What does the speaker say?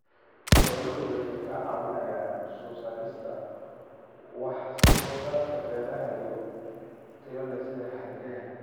Xooluhu waxay ka caawiyaan soo saarista wax soo saarka beeraha oo tayo leh sida hargaha.